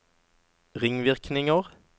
ringvirkninger